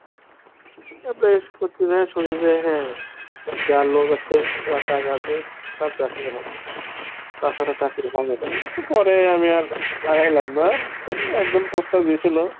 তারপরে এসব করতে যেয়ে শুনি যে হ্যাঁ যার লোক আছে যার টাকা আছে তার চাকরি হবে, তাছাড়া চাকরি পাবো না। পরে আমি আর আগাইলাম না, তবে একজন প্রস্তাব দিয়েছিলো